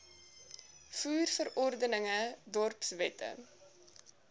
voer verordeninge dorpswette